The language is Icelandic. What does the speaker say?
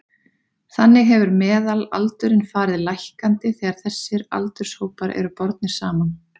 Þannig hefur meðalaldurinn farið lækkandi þegar þessir aldurshópar eru bornir saman.